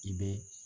I bɛ